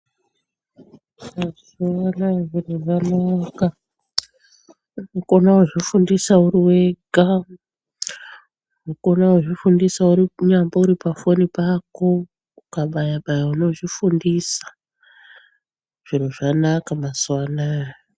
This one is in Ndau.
Mazuwa anaya zviro zvanaka unokona kuzvifundisa uri wega unokona kuzvifundisa unyambori pafoni pako ukabayabaya unozvifundisa zviro zvanaka mazuwa anaya.